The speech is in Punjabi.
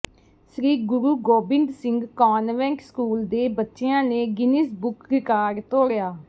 ਸ੍ਰੀ ਗੁਰੁੂ ਗੋਬਿੰਦ ਸਿੰਘ ਕਾਨਵੈਂਟ ਸਕੂਲ ਦੇ ਬੱਚਿਆਂ ਨੇ ਗਿਨੀਜ਼ ਬੁੱਕ ਰਿਕਾਰਡ ਤੋੜਿਆ